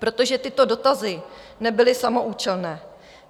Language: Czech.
Protože tyto dotazy nebyly samoúčelné.